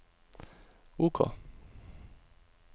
OK